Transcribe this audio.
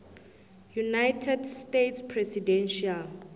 united states presidential